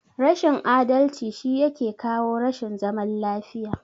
Rashin adalci shi yake kawo rashin zaman lafiya.